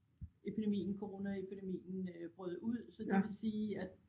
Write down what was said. Epidemien Coronaepidemien øh brød ud så det vil sige at